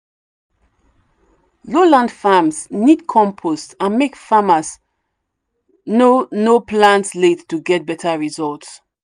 low land farms need compost and make farmers no no plant late to get better result.